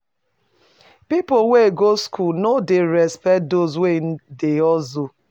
Pipo wey go skool no dey respect those wey dey hustle.